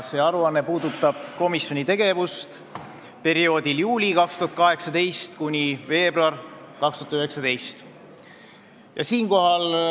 See aruanne puudutab komisjoni tegevust juulist 2018 kuni veebruarini 2019.